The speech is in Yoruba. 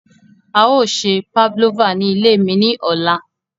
A yoo se Pavlova ni ile mi ni ọla.